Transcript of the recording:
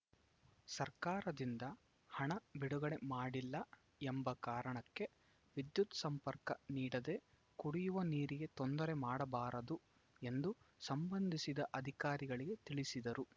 ಸರ್ಕಾರದಿಂದ ಹಣ ಬಿಡುಗಡೆ ಮಾಡಿಲ್ಲ ಎಂಬ ಕಾರಣಕ್ಕೆ ವಿದ್ಯುತ್‌ ಸಂಪರ್ಕ ನೀಡದೇ ಕುಡಿಯುವ ನೀರಿಗೆ ತೊಂದರೆ ಮಾಡಬಾದರು ಎಂದು ಸಂಬಂಧಿಸಿದ ಅಧಿಕಾರಿಗಳಿಗೆ ತಿಳಿಸಿದರು